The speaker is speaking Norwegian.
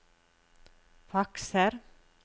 fakser